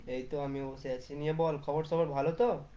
এইতো আমিও বসে আছি, নিয়ে বল খবর সবর ভালো তো